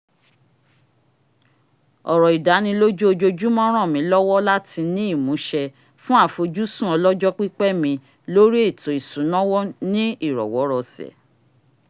ọ̀rọ̀ ìdánilójú ojoojúmọ́ ràn mí lọ́wọ́ láti ní ìmúṣẹ fún àfojúsùn ọlọ́jọ́pípẹ́ mi lórí ètò ìsúná ní ìrọwó̩-rọṣẹ̀